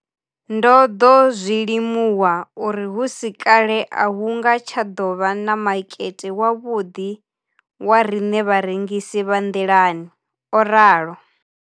Ndo ḓo zwi limuwa uri hu si kale a hu nga tsha ḓo vha na makete wavhuḓi wa riṋe vharengisi vha nḓilani, o ralo.